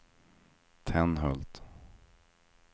Tenhult